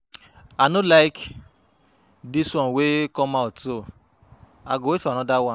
I no like dis one wey come out so I go wait for another one